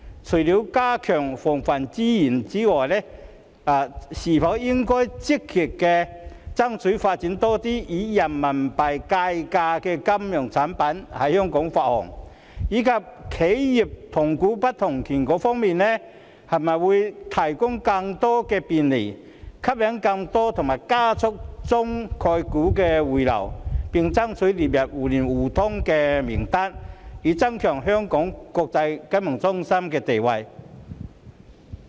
除了加強防衞之外，香港應否積極爭取發行更多以人民幣計價的金融產品，以及會否就企業的同股不同權提供更多便利，吸引更多及加速中概股回流，並且爭取列入互聯互通名單，以增強香港國際金融中心的地位？